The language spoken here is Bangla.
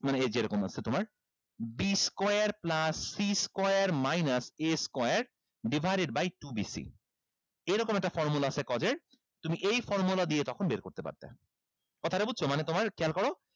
মানে এই যে এরকম আছে তোমার b square plus c square minus a square divided by two b c এইরকম একটা formula আছে cos এর তুমি এই formula দিয়ে তখন বের করতে পারতা কথাটা বুঝছো মানে তোমার খেয়াল করো